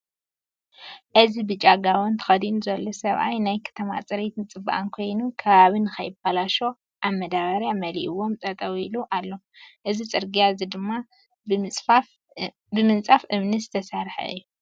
እዚ ብጫ ጋቦን ተኸዲኒ ዘሎ ሰብኣይ ናይ ከተማ ፅሬት ፅባቀን ኮይኑ ከባቢ ካይባለሸው ኣብ መዳብያ መሊእዎምጠጠው ኢሉ ኣሎ። እዚ ፅረግያ እዚ ድማ ብምፃፍ እምኒ ዝተሰርሐ እዩ።